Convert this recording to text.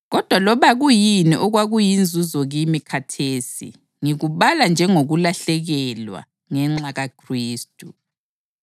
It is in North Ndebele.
Kodwa loba kuyini okwakuyinzuzo kimi khathesi ngikubala njengokulahlekelwa ngenxa kaKhristu.